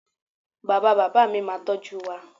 Bàbá bàbá mi máa n tọ́jú wa